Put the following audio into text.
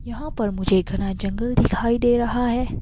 यहाँ पर मुझे घना जंगल दिखाई दे रहा है।